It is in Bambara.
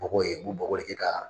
Bɔgɔ ye u bɛ bɔgɔ de kɛ ka